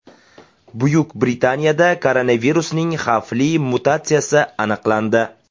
Buyuk Britaniyada koronavirusning xavfli mutatsiyasi aniqlandi.